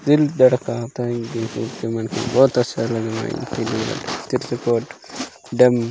कील बड़ कांपे इंगेज मन ओत सर्वे मन चित्रकोट डम --